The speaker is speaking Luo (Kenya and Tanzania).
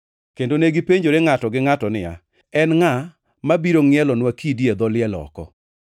kendo negipenjore ngʼato gi ngʼato niya, “En ngʼa mabiro ngʼielonwa kidi e dho liel oko?”